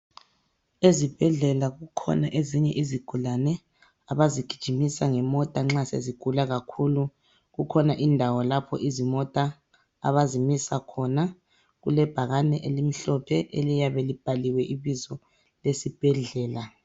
Ezibhedlela kukhona ezinye izigulane abazigijimisa ngemota nxa sezigula kakhulu. Kukhona indawo lapho izimota abazimisa khona. Kulebhakane elimhlophe eliyabe libhaliwe ibizo lesibhedlela.